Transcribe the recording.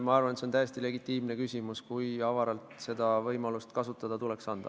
Ma arvan, et see on täiesti legitiimne küsimus, kui avaralt seda võimalust tuleks anda.